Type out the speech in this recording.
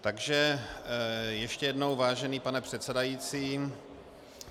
Takže ještě jednou, vážený pane předsedající.